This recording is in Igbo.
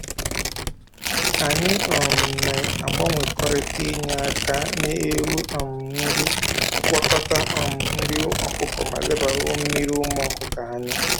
Anyị um na-agbanwekọrịta inye aka nye ewu um nri, gwakọta um nri ọkụkọ ma lebara mmiri ụmụ ọkụkọ anya